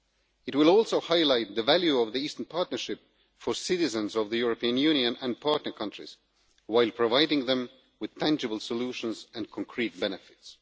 It will also highlight the value of the Eastern Partnership for citizens of the European Union and the partner countries, while providing them with tangible solutions and concrete benefits.